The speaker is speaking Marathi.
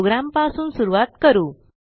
प्रोग्रॅमपासून सुरूवात करू